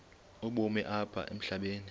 ubomi apha emhlabeni